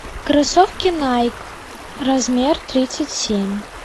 кроссовки найк размер тридцать семь